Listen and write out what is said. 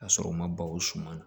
Ka sɔrɔ u ma balo o suma na